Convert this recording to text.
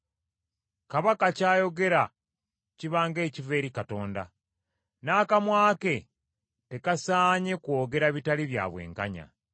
Kabaka ky’ayogera kiba ng’ekiva eri Katonda, n’akamwa ke tekasaanye kwogera bitali bya bwenkanya.